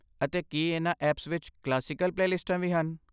ਅਤੇ ਕੀ ਇਹਨਾਂ ਐਪਸ ਵਿੱਚ ਕਲਾਸੀਕਲ ਪਲੇਲਿਸਟਾਂ ਵੀ ਹਨ?